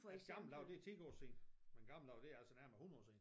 Men gamle dage det er ti år siden men gamle dage det altså nærmere 100 år siden